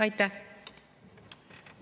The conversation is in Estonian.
Aitäh!